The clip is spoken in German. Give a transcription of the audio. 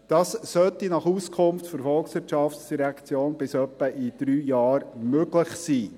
Dies sollte nach Auskunft der VOL bis etwa in drei Jahren möglich sein.